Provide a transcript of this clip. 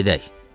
Gedək.